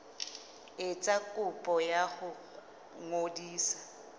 etsa kopo ya ho ngodisa